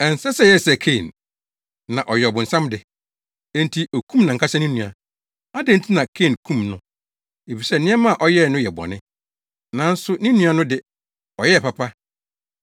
Ɛnsɛ sɛ yɛyɛ sɛ Kain. Na ɔyɛ ɔbonsam de. Enti okum nʼankasa ne nua. Adɛn nti na Kain kum no? Efisɛ nneɛma a ɔyɛe no yɛ bɔne, nanso ne nua no de, ɔyɛɛ papa.